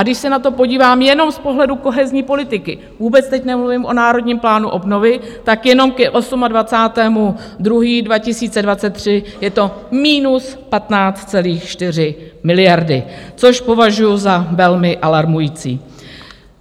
A když se na to podívám jenom z pohledu kohezní politiky, vůbec teď nemluvím o Národním plánu obnovy, tak jenom k 28. 2. 2023 je -15,4 miliardy, což považuji za velmi alarmující.